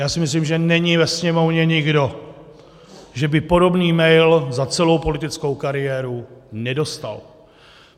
Já si myslím, že není ve Sněmovně nikdo, kdo by podobný mail za celou politickou kariéru nedostal.